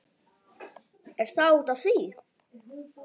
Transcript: Er það út af því?